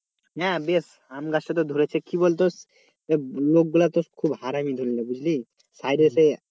হ্যাঁ বেশ আম গাছটা তো ধরেছে কি বলতো লোকগুলা তো খুব হারামি ধরে নে বুঝলি?